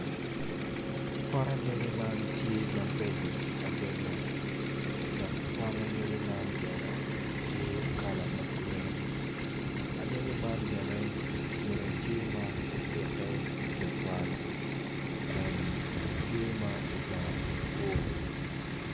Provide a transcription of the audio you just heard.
Pot anyogi man tye mabeco adada , awobi eni kono tye ma oruko long ma bule en kono tye ma oruko gin blue i cinge en kono tye kun tye ma odongo maboco.